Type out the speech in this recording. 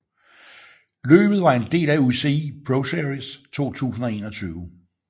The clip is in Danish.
Løbet var en del af UCI ProSeries 2021